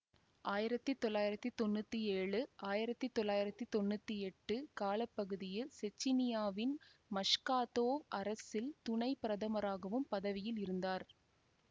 ஆயிரத்தி தொள்ளாயிரத்தி தொன்னூத்தி ஏழு ஆயிரத்தி தொள்ளாயிரத்தி தொன்னூத்தி எட்டு கால பகுதியில் செச்சினியாவின் மஷ்காதொவ் அரசில் துணை பிரதமராகவும் பதவியில் இருந்தார்